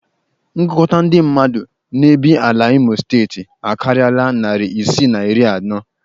Ngụkọta ndị mmadụ na-ebiela n'Imo steeti akarịala narị isii na iri anọ